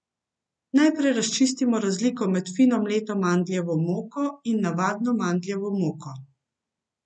Najprej razčistimo razliko med fino mleto mandljevo moko in navadno mandljevo moko.